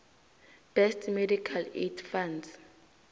best medical aid funds